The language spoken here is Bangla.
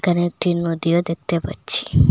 এখানে একটি নদীও দেখতে পাচ্ছি।